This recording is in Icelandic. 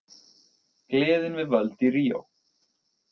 Gleðin við völd í Ríó